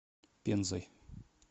пензой